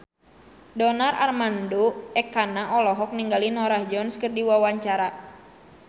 Donar Armando Ekana olohok ningali Norah Jones keur diwawancara